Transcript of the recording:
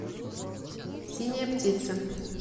синяя птица